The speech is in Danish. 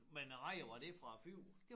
Men æ rejer var det fra æ fjord?